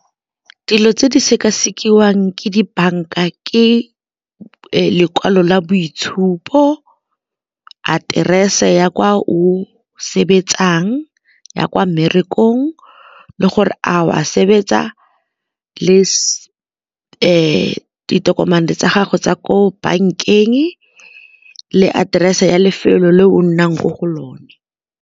Dilo tse di sekasekiwang ke dibanka, ke lekwalo la boitshupo, aterese ya kwa o sebetsang ya kwa le gore a o a sebetsa le ditokomane tsa gago tsa ko bankeng le aterese ya lefelo le o nnang mo go lone.